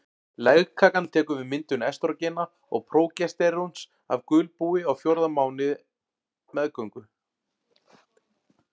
Legkakan tekur við myndun estrógena og prógesteróns af gulbúi á fjórða mánuði meðgöngu.